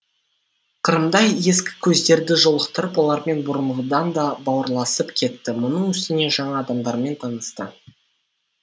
қырымда ескі көздерді жолықтырып олармен бұрынғыдан да бауырласып кетті мұның үстіне жаңа адамдармен танысты